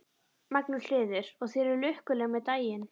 Magnús Hlynur: Og þið eruð lukkuleg með daginn?